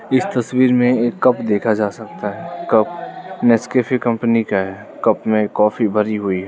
इस तस्वीर में एक कप देखा जा सकता है कप नेसकैफे कंपनी का है कप में कॉफी भरी हुई है।